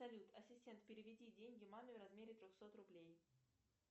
салют ассистент переведи деньги маме в размере трехсот рублей